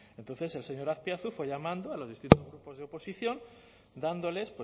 entonces el señor azpiazu fue llamando a los distintos grupos de oposición dándoles